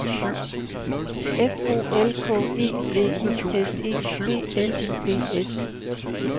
F O L K E V I S E B L U E S